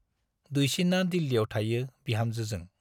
दुइसिना दिल्लीयाव थायो बिहामजोजों ।